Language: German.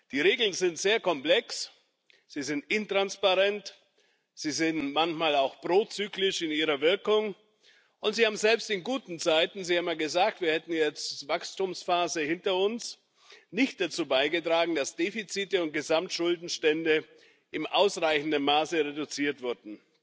Die Regeln sind sehr komplex, sie sind intransparent, sie sind manchmal auch prozyklisch in ihrer Wirkung, und sie haben selbst in guten Zeiten Sie haben ja gesagt, wir hätten jetzt eine Wachstumsphase hinter uns nicht dazu beigetragen, dass Defizite und Gesamtschuldenstände in ausreichendem Maße reduziert wurden.